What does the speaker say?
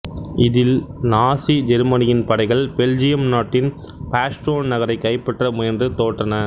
இதில் நாசி ஜெர்மனியின் படைகள் பெல்ஜியம் நாட்டின் பாஸ்டோன் நகரைக் கைப்பற்ற முயன்று தோற்றன